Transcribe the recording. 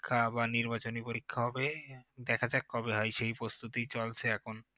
পরীক্ষা বা নির্বাচনী পরীক্ষা হবে দেখা যাক কবে হয় সেই প্রস্তুতি চলছে এখন